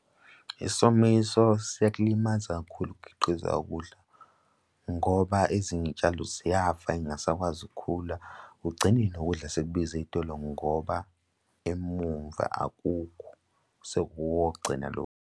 Isomiso seyakulimaza kakhulu ukukhiqiza ukudla, ngoba ezinye iy'tshalo ziyafa y'ngasakwazi ukukhula kugcine nokudla sekubiza ey'tolo ngoba emumva akukho, sekuwokugcina lokhu.